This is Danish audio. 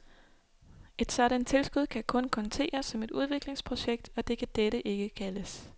Et sådant tilskud kan kun konteres som et udviklingsprojekt, og det kan dette ikke kaldes.